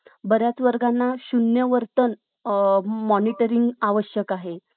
बऱ्याच वर्गांना शून्य वर्तन मॉनिटरिंग आवश्यक आहे